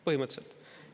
Põhimõtteliselt.